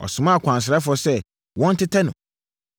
ɔsomaa akwansrafoɔ sɛ wɔn tetɛ no.